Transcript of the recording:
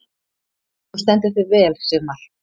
Þú stendur þig vel, Sigmar!